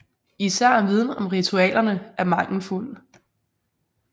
Især viden om ritualerne er mangelfuld